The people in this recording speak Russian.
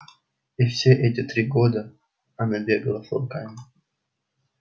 и все эти три года она бегала с волками